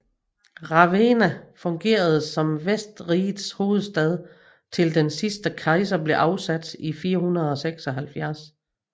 Ravenna fungerede som vestrigets hovedstad til den sidste kejser blev afsat i 476